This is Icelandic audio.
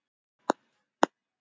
Og fleira spilar inn í.